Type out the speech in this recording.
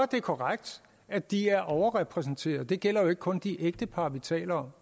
det korrekt at de er overrepræsenteret og det gælder jo ikke kun de ægtepar vi taler